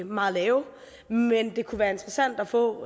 meget lave men det kunne være interessant at få